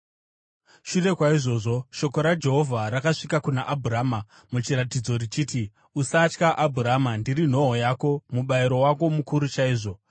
Shure kwaizvozvo shoko raJehovha rakasvika kuna Abhurama muchiratidzo richiti: “Usatya, Abhurama. Ndiri nhoo yako, mubayiro wako mukuru chaizvo.”